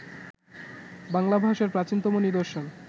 বাংলা ভাষার প্রাচীনতম নিদর্শন